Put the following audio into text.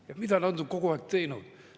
Ja mida nad on kogu aeg teinud?